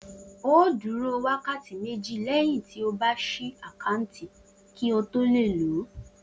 O óò dúró wákàtí méjì lé̩yìn tí o bá s̩I àkáǹtì kí o tó lè lòó